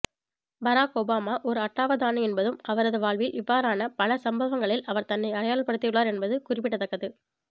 பராக் Obama ஒரு அட்டாவதானியென்பதும் அவரது வாழ்வில் இவ்வாறான பல சம்பவங்களில் அவர் தன்னை அடையாளப்படுத்தியுள்ளார் என்பது குறிப்பிடத்தக்கது